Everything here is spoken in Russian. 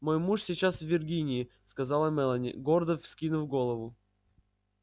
мой муж сейчас в виргинии сказала мелани гордо вскинув голову